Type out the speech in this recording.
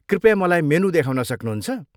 कृपया मलाई मेनु देखाउन सक्नुहुन्छ?